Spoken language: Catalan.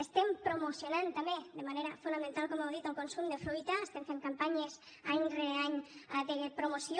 estem promocionant també de manera fonamental com heu dit el consum de fruita estem fent campanyes any rere any de promoció